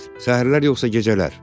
Səhərlər yoxsa gecələr?